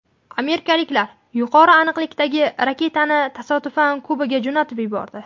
Amerikaliklar yuqori aniqlikdagi raketani tasodifan Kubaga jo‘natib yubordi.